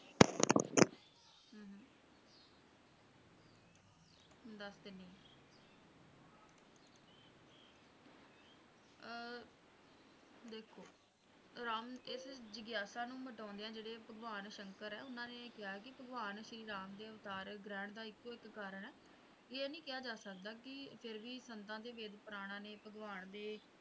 ਰਾਮ ਇਸ ਜਿਗਿਆਸਾ ਨੂੰ ਮਿਟਾਉਂਦੀਆਂ ਜਿਹੜੇ ਭਗਵਾਨ ਸ਼ੰਕਰ ਹੈਂ ਉਨ੍ਹਾਂ ਨੇ ਇਹ ਕਿਹਾ ਹੈ ਕਿ ਭਗਵਾਨ ਸ਼੍ਰੀ ਰਾਮ ਦੇ ਅਵਤਾਰ ਗ੍ਰਹਿਣ ਦਾ ਇੱਕੋ ਇੱਕ ਕਾਰਨ ਹੈ ਇਹ ਨਹੀਂ ਕਿਹਾ ਜਾ ਸਕਦਾ ਕਿ ਫੇਰ ਵੀ ਸੰਤਾਂ ਦੇ ਵੇਦ ਪੁਰਾਣਾਂ ਨੇ ਭਗਵਾਨ ਦੇ